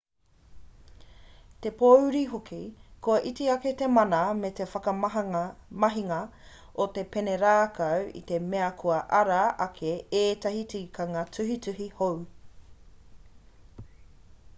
te pōuri hoki kua iti ake te mana me te whakamahinga o te pene rākau i te mea kua ara ake ētahi tikanga tuhituhi hou